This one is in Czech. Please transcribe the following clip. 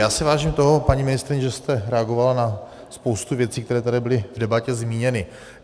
Já si vážím toho, paní ministryně, že jste reagovala na spoustu věcí, které tady byly v debatě zmíněny.